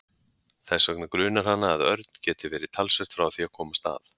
Þess vegna grunar hana að Örn geti verið talsvert frá því að komast að.